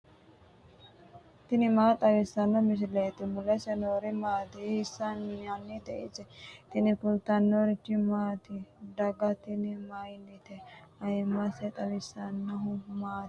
tini maa xawissanno misileeti ? mulese noori maati ? hiissinannite ise ? tini kultannori mattiya? Daga tinni mayiinnite? ayiimmansa xawisannohu maati? maho ganbba yiinno?